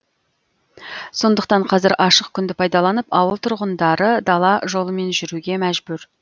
сондықтан қазір ашық күнді пайдаланып ауыл тұрғындары дала жолымен жүруге мәжбүр